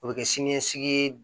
O bɛ kɛ siniɲɛsigi ye